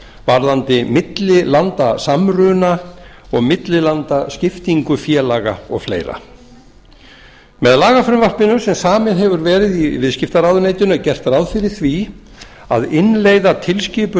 varðandi millilandasamruna og millilandaskiptingu félaga og fleiri með lagafrumvarpinu sem samið hefur verið í viðskiptaráðuneytinu er gert ráð fyrir því að innleiða tilskipun